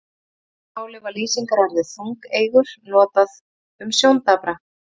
Í fornu máli var lýsingarorðið þungeygur notað um sjóndapra.